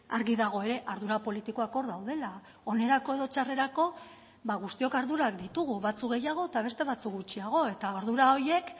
argi dago ere ardura politikoak hor daudela onerako edo txarrerako guztiok ardurak ditugu batzuk gehiago eta beste batzuk gutxiago eta ardura horiek